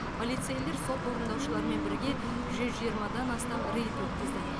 полицейлер сот орындаушыларымен бірге жүз жиырмадан астам рейд өткізді